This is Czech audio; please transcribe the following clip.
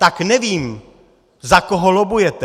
Tak nevím, za koho lobbujete.